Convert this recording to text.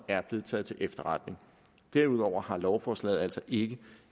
er blevet taget til efterretning derudover har lovforslaget altså ikke